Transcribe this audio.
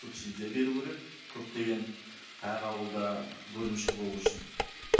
субсидия беру керек көптеген әр ауылда бөлімше болу үшін